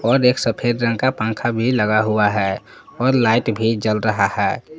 एक सफेद रंग का पंखा भी लगा हुआ है और लाइट भी जल रहा है ।